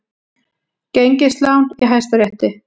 Gengislán í Hæstarétti